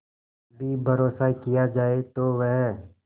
भी भरोसा किया जाए तो वह